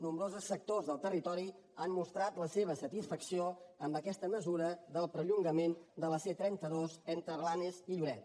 nombrosos sectors del territori han mostrat la seva satisfacció amb aquesta mesura del perllongament de la c trenta dos entre blanes i lloret